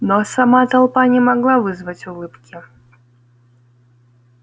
но а сама толпа не могла вызвать улыбки